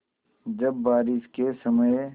जब बारिश के समय